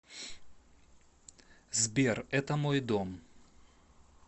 сбер это мой дом